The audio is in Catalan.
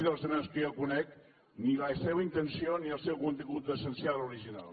de les esmenes que jo conec ni la seva intenció ni el seu contingut essencial original